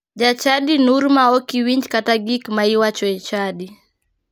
Jachadi nur ma ok winj kata gik ma iwacho e chadi.